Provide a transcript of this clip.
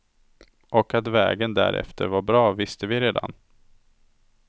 Och att vägen därefter var bra visste vi redan.